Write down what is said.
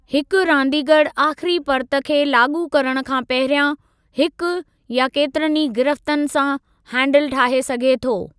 हिक रांदीगरु आख़िरी पर्त खे लाॻू करणु खां पहिरियां हिकु या केतिरनि ई गिरिफ्तन सां हैंडिल ठाहे सघे थो।